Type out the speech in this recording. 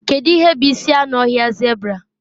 Kedu ihe bụ isi anụ ọhịa zebra?